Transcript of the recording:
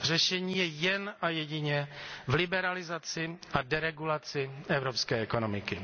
Řešení je jen a jedině v liberalizaci a deregulaci evropské ekonomiky.